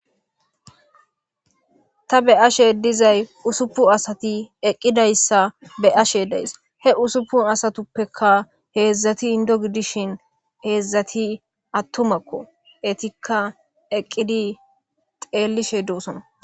ta be ashe dizay usupu asati eqqidayssa be ashe deys he usuppu asatuppeka heedzdzati indo gidishin heedzdzati attumakko etikka eqqidi xeellishe doosona